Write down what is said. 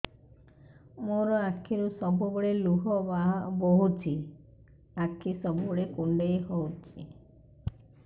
ମୋର ଆଖିରୁ ସବୁବେଳେ ଲୁହ ବୋହୁଛି ଆଖି ସବୁବେଳେ କୁଣ୍ଡେଇ ହଉଚି